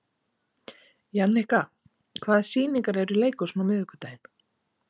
Jannika, hvaða sýningar eru í leikhúsinu á miðvikudaginn?